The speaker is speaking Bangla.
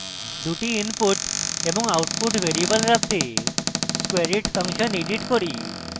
দুটি input এবং output ভ্যারিয়েবল রাখতে squareit ফাংশন edit করি